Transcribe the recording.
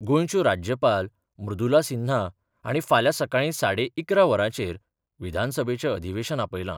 गोंयच्यो राज्यपाल मृदुला सिन्हा हांणी फाल्यां सकाळी साडे इकरा वरांचेर विधानसभेचें अधिवेशन आपयलां.